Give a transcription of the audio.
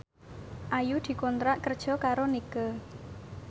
Ayu dikontrak kerja karo Nike